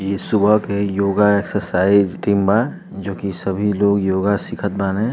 ये सुबह के योगा एक्सरसाइज टीम बा जोकि सभी लोग योगा सीखत बाने।